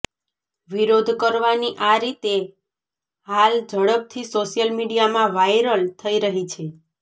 વિરોધ કરવાની આ રીતે હાલ ઝડપથી સોશ્યલ મીડિયામાં વાયરલ થઇ રહી છે